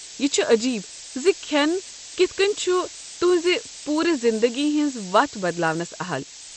یہ چھ عجیب زِ کھٮ۪ن کِتھ کٔنۍ چھُ تہنٛز پوٗرٕ زندگی ہٕنٛز وتھ بدلٲونس اہل۔